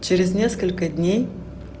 через несколько дней